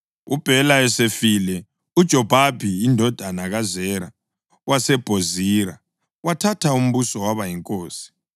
UBhela esefile, uJobhabhi indodana kaZera waseBhozira wathatha umbuso waba yinkosi.